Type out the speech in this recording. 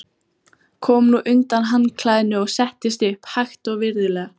Kom nú undan handklæðinu og settist upp, hægt og virðulega.